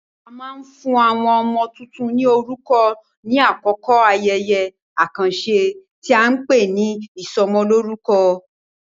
A máa ń fún àwọn ọmọ tuntun ní orúkọ ní àkókò ayẹyẹ àkànṣe tí a ń pè ní ìsọmọlórúkọ.